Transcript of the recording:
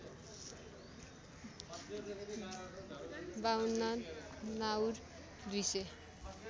५२ नाउर २ सय